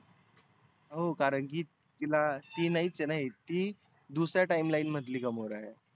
हो कारण की तीला ती नाहीच आहेना ती दुसर्या timeline मधली gamora आहे.